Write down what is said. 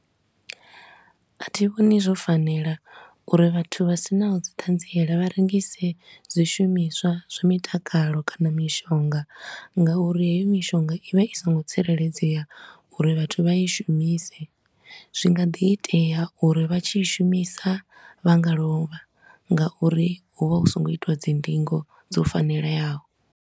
A thi vhoni zwo fanela uri vhathu vha sinaho dzi thanziela vharengise dzi shumiswa zwo mitakalo kha na mishonga nga uri heyo mishonga i vha i so ngo tsireledzea uri vhathu vha i shumise. Zwi nga ḓi itea uri vha tshi i shumisa vha nga lovha nga uri hu vha hu so ngo itiwa dzi ndingo dzo fanelayaho.